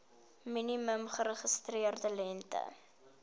minimum geregistreerde lengte